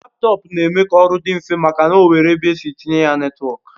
Laptọọpụ na-eme ka oru di nfe maka o nwere ebe esi etinye ya netwọk